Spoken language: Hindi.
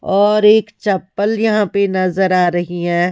और एक चप्पल यहां पे नजर आ रही है।